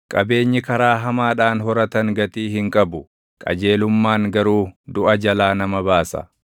Qabeenyi karaa hamaadhaan horatan gatii hin qabu; qajeelummaan garuu duʼa jalaa nama baasa.